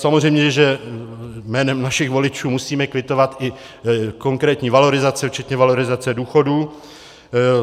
Samozřejmě že jménem našich voličů musíme kvitovat i konkrétní valorizace včetně valorizace důchodů.